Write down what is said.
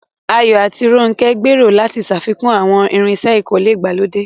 Ayo àti Ronke gbèrò láti ṣàfikún àwọn irinṣẹ́ ìkọ́lé ìgbàlódé